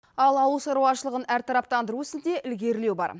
ал ауыл шарушылығын әртарптандыру ісінде ілгерілеу бар